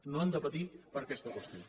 no han de patir per aquesta qüestió